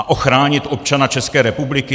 A ochránit občana České republiky?